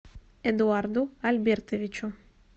эдуарду альбертовичу